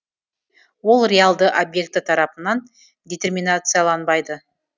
ол реалды объекті тарапынан детерминацияланбайды